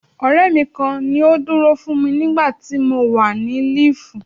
Ọ̀rẹ́ mi kan ni ó dúró fún mi nígbà tí mo wà ní líìfù.